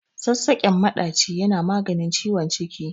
Sassaƙen maɗaci yana maganin ciwon ciki.